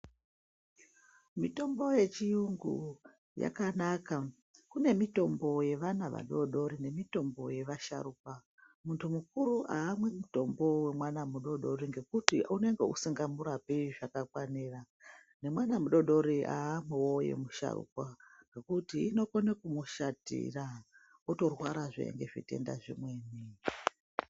Mitombo yechiyungu yakanaka. Kune mitombo yevana vadori-dori nemitombo yevasharukwa. Muntu mukuru haamwi mutombo wemwana mudori-dori ngekuti unenge usingamurapi zvakakwanira. Nemwana mudori-dori haamwiwo yemusharukwa nekuti inokone kumushatira, wotorwarazve ngezvitenda zvimweni.